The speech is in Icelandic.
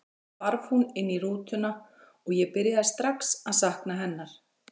Svo hvarf hún inn í rútuna og ég byrjaði strax að sakna hennar.